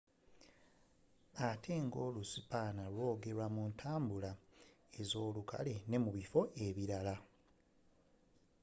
ate nga olu spanish lwogerwa muntabula ezolukale nemubifo ebirala